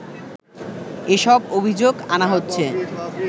এসব অভিযোগ আনা হচ্ছে